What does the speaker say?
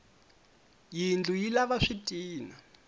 yindlu yi lava switina